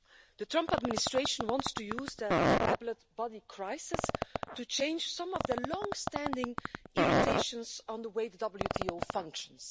The Trump administration wants to use the Appellate Body crisis to change some of their long standing irritations about the way the WTO functions.